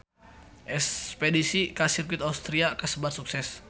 Espedisi ka Sirkuit Austria kasebat sukses